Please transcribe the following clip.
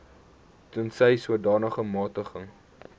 tensy sodanige magtiging